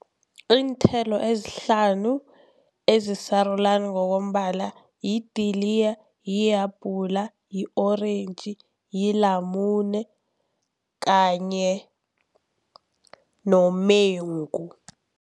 Iinthelo ezihlanu ezisarulani ngokombala lidiliya, lihabhula, i-orentji, lilamune kanye nomengu.